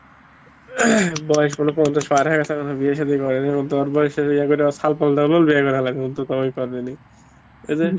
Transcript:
বয়েস হলো পঞ্চাশ পার হয়ে গেছে এখনও বিয়ে সাদি করেনি এদের